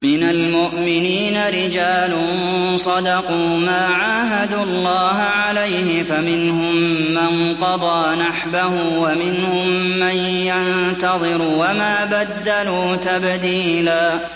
مِّنَ الْمُؤْمِنِينَ رِجَالٌ صَدَقُوا مَا عَاهَدُوا اللَّهَ عَلَيْهِ ۖ فَمِنْهُم مَّن قَضَىٰ نَحْبَهُ وَمِنْهُم مَّن يَنتَظِرُ ۖ وَمَا بَدَّلُوا تَبْدِيلًا